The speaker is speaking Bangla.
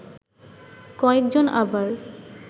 কয়েক জন আবার